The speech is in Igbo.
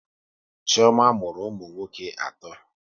Chioma mụrụ ụmụ nwoke atọ